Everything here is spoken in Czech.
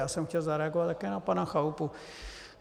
Já jsem chtěl zareagovat také na pana Chalupu.